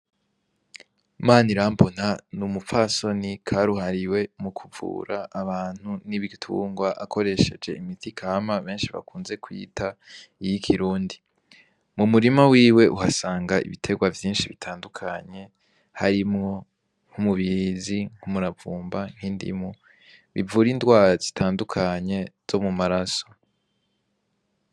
Manirambona n'umupfasoni karuhariwe mukuvura abantu n'ibitungwa akoresheje imiti kama benshi bakunze kwita iyi kirundi, mu murima wiwe uhasanga ibierwa vyinshi bitandukanye harimwo nk'umubirizi ,umuravumba, n'indimu bivura indwara zitandukanye zo mu maraso.